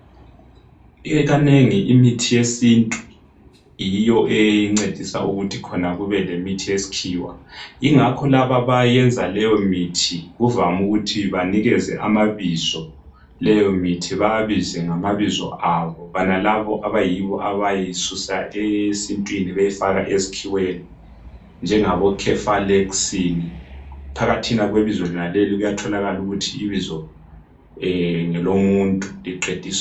Ikanengi imithi yesintu yiyo encedisa ukuthi khona kube lemithi yesikhiwa. Ingakho laba abayenza leyo mithi kuvame ukuthi banikeze amabizo leyo mithi, babize ngamabizo abo. Bonalabo abiyibo abayisusa esintwini beyifaka esikhiweni, njengabo cefalexin phakathina kwebizo lenaleli kuyatholakala ukuthi ibizo ngelomuntu liqedisa...